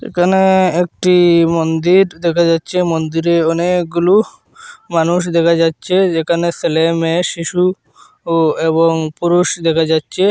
একানে একটি মন্দির দেখা যাচচে মন্দিরে অনেকগুলু মানুষ দেখা যাচ্চে যেকানে সেলে মেয়ে শিশু ও এবং পুরুষ দেকা যাচ্চে।